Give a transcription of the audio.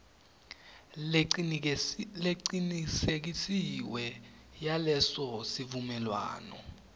lecinisekisiwe yaleso sivumelwano